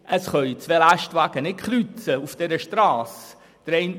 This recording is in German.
Zwei Lastwagen können auf dieser Strasse nicht kreuzen.